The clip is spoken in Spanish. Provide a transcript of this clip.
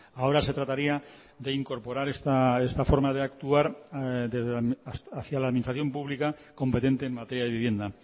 ahora se trataría de incorporar esta forma de actuar hacia la administración pública competente en materia de vivienda